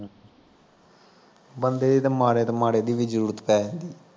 ਬੰਦੇ ਦੀ ਤਾਂ ਮਾੜੇ ਤੋਂ ਮਾੜੇ ਦੀ ਵੀ ਜ਼ਰੂਰਤ ਪੈ ਜਾਂਦੀ